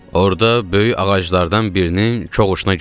Orda böyük ağaclardan birinin kohoşuna girdik.